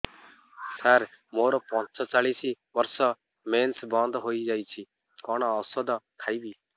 ସାର ମୋର ପଞ୍ଚଚାଳିଶି ବର୍ଷ ମେନ୍ସେସ ବନ୍ଦ ହେଇଯାଇଛି କଣ ଓଷଦ ଖାଇବି